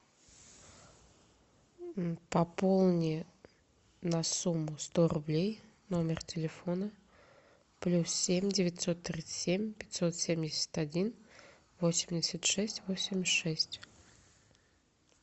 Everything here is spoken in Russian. пополни на сумму сто рублей номер телефона плюс семь девятьсот тридцать семь пятьсот семьдесят один восемьдесят шесть восемьдесят шесть